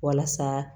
Walasa